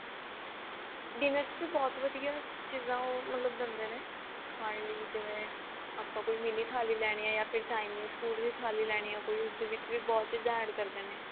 ਜਿਵੇਂ ਕੀ ਬਹੁਤ ਵਧੀਆ ਚੀਜ਼ਾਂ ਉਹ ਦਿੰਦੇ ਨੇ ਖਾਣ ਲਈ ਜਿਵੇਂ ਆਪਾਂ ਕੋਈ mini ਥਾਲੀ ਲੈਣੀ ਹੈ ਯਾ ਫਿਰ Chinese food ਵੀ ਥਾਲੀ ਲੈਣੀ ਹੈ ਉਸਦੇ ਵਿੱਚ ਵੀ ਬਹੁਤ ਚੀਜ਼ਾਂ add ਕਰਦੇ ਨੇ